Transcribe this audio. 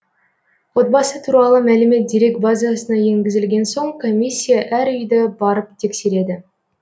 отбасы туралы мәлімет дерек базасына енгізілген соң комиссия әр үйді барып тексереді